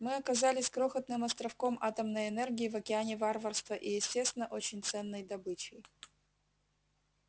мы оказались крохотным островком атомной энергии в океане варварства и естественно очень ценной добычей